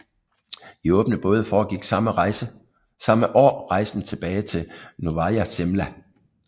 I åbne både foregik samme år rejsen tilbage til Novaja Zemlja